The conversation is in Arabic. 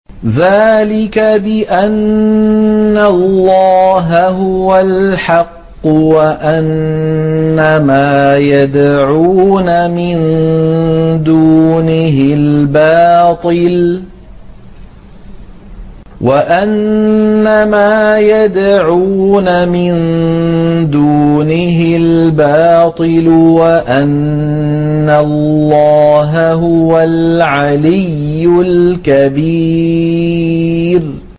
ذَٰلِكَ بِأَنَّ اللَّهَ هُوَ الْحَقُّ وَأَنَّ مَا يَدْعُونَ مِن دُونِهِ الْبَاطِلُ وَأَنَّ اللَّهَ هُوَ الْعَلِيُّ الْكَبِيرُ